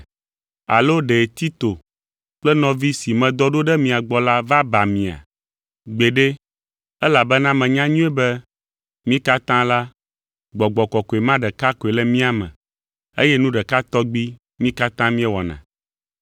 Alo ɖe Tito kple nɔvi si medɔ ɖo ɖe mia gbɔ la va ba mia? Gbeɖe, elabena menya nyuie be mí katã la, Gbɔgbɔ Kɔkɔe ma ɖeka koe le mía me, eye nu ɖeka tɔgbi mí katã míewɔna.